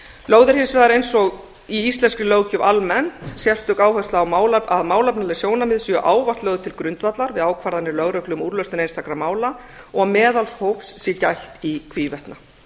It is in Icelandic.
lögð er hins vegar eins og í íslenskri löggjöf almennt sérstök áhersla á að málefnaleg sjónarmið séu ávallt lögð til grundvallar við ákvarðanir lögreglu um úrlausn einstakra mála og meðalhófs sé gætt í hvívetna